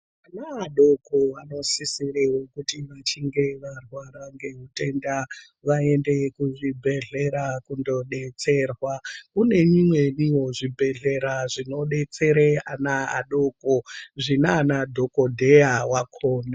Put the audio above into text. Vana vadoko vanosisire kuti vachinge varwara ngeutenda vaende kuzvibhedhlera kundodetserwa . Kune imweniwo zvibhedhlera zvinodetsera ana adoko zvinana dhokodheya wakhona.